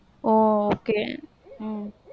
ஒ okay உம்